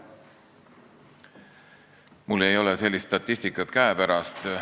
Mul ei ole sellist statistikat käepärast.